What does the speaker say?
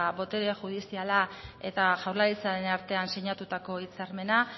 botere judiziala eta jaurlaritzaren artean sinatutako hitzarmena